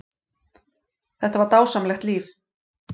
Þetta var dásamlegt líf.